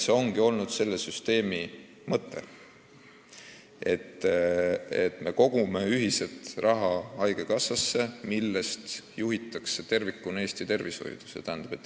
See ongi olnud meie süsteemi mõte: me kogume ühiselt raha haigekassasse, kust juhitakse tervikuna Eesti tervishoidu.